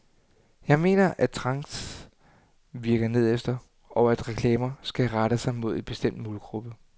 Jeg mener, at trends virker nedefter, og at reklamer skal rette sig mod en bestemt målgruppe.